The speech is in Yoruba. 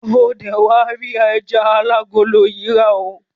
O dé wá rí ẹja alágolo yìí rà oo.